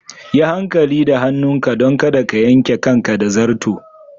Yi hankali da hannunka don kada ka yanke kanka da zarto.